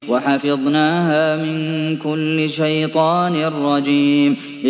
وَحَفِظْنَاهَا مِن كُلِّ شَيْطَانٍ رَّجِيمٍ